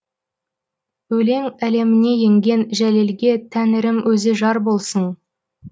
өлең әлеміне енген жәлелге тәңірім өзі жар болсын